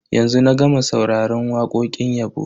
Yanzu na gama sauraron wakokin yabo.